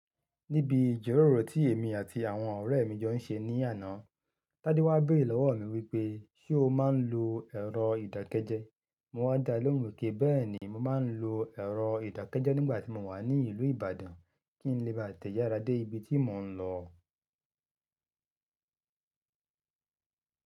Níbi ìjọ́róró tí èmi àti àwọn ọ̀rẹ́ mi jọ ń ṣe ní àná, Tádé wá béèrè lọ́wọ́ mi wípé, "ṣé o máa ń lo ẹ̀rọ ìdákẹ́jẹ́?" Mo wá dá a lóhùn wípé, "béèni, mo máa ń lo ẹ̀rọ ìdákẹ́jẹ́ nígbà tí mo wà ní ìlú Ìbàdàn kí n lè bá tẹ̀yàrá dé ibi tí mò ń lọ".